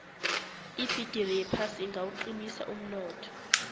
ibhigiri yephasi ingawuqinisa umnotho